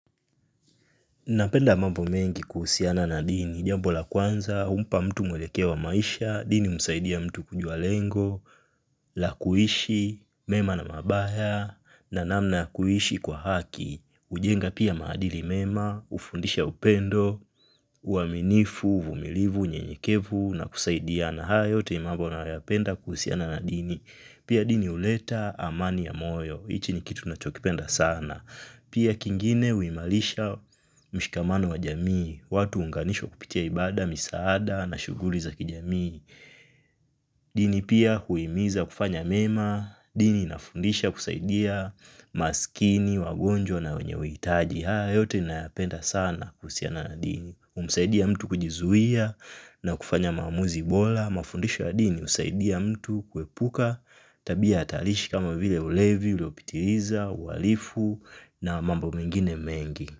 Napenda mambo mengi kuhusiana na dini, jambo la kwanza, humpa mtu mwelekeo wa maisha, dini humsaidia mtu kujua lengo, la kuishi, mema na mabaya, na namna ya kuishi kwa haki, hujenga pia maadili mema, hufundisha upendo, uaminifu, uvumilivu, nyenyekevu, na kusaidiana hayo yote ni mambo nayapenda kuhusiana na dini, pia dini huleta amani ya moyo, hichi ni kitu nachokipenda sana. Pia kingine huimarisha mshikamano wa jamii, watu huunganishwa kupitia ibada, misaada na shughuli za kijamii. Dini pia huimiza kufanya mema, dini inafundisha kusaidia maskini, wagonjwa na wenye uhitaji. Haya, yote nayapenda sana kuhusiana na dini humsaidia mtu kujizuia na kufanya maamuzi bora. Mafundisho ya dini husaidia mtu kuepuka tabia hatarishi kama vile ulevi uliopitiliza, uhalifu na mambo mengine mengi.